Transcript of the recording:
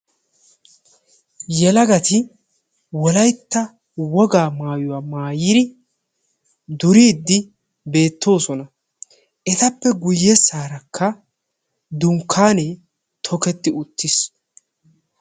Yelagatti wolaytta wogaa maayuwa maayiddi beetosonna. Hegaadankka ettappe duge bagan dunkkanne tukketti uttiis.